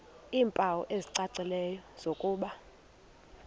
iimpawu ezicacileyo zokuba